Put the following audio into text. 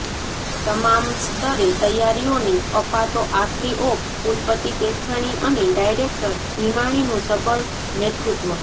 તમામ સ્તરે તૈયારીઓને અપાતો આખરી ઓપઃ કુલપતિ પેથાણી અને ડાયરેકટ ભીમાણીનું સબળ નેતૃત્વ